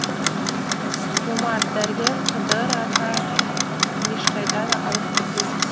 жомарт дәрігер қыдыр ата ешқайда да алып кетпейсіз